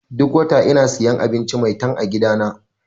Duk wata ina siyan abinci 'Maitan' a gidana.